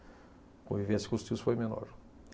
Convivência com os tios foi menor.